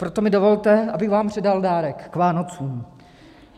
Proto mi dovolte, abych vám předal dárek k Vánocům.